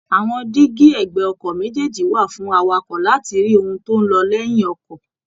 Àwọn díígí ẹ̀gbẹ́ọkọ̀ méjèèjì wà fún awakọ láti rí ohun tó ń lọ lẹ́yìn ọkọ̀